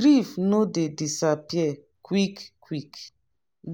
grief no dey disappear quick-quick